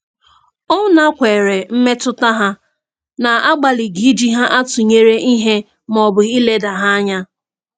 Ọ nakweere mmetụta ha n'agbalịghị iji ha atụnyere ihe maọbụ ileda ha anya.